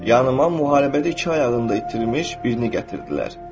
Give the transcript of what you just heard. Yanıma müharibədə iki ayağını itirmiş birini gətirdilər.